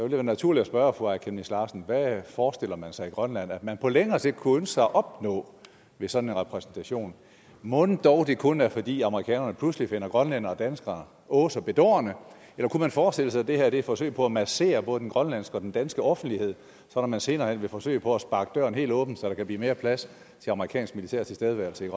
være naturligt at spørge fru aaja chemnitz larsen hvad forestiller man sig i grønland at man på længere sigt kunne ønske sig at opnå ved sådan en repræsentation mon dog det kun er fordi amerikanerne pludselig finder grønlændere og danskere åh så bedårende eller kunne man forestille sig at det her er et forsøg på at massere både den grønlandske og den danske offentlighed og at man senere hen vil forsøge på at sparke døren helt åben så der kan blive mere plads til amerikansk militær tilstedeværelse